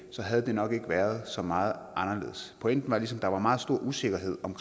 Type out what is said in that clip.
havde det nok ikke været så meget anderledes pointen var ligesom at der var meget stor usikkerhed om